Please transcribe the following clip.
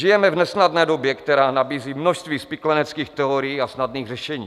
Žijeme v nesnadné době, která nabízí množství spikleneckých teorií a snadných řešení.